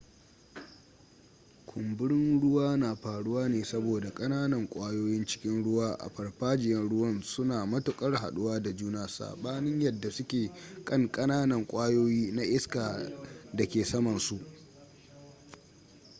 kumburin ruwa na faruwa ne saboda kananan kwayoyin cikin ruwa a farfajiyan ruwan suna matuƙar jhaɗuwa da juna saɓanin yadda suke kankananan kwayoyi na iska a da ke samansu